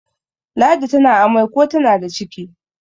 ladi tana amai ko tana da ciki